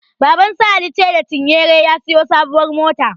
Babansu Alice da cinyere ya siyo sabuwar mota.